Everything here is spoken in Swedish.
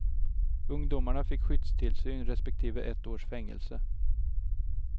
Ungdomarna fick skyddstillsyn respektive ett års fängelse.